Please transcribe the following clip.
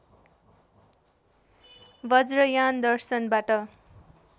Vajrayana दर्शनबाट